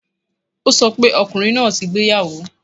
O sọ pé ọkùnrin náà ti gbéyàwó